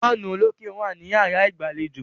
Fáànù olókè wà ní yàrá ìgbàlejò.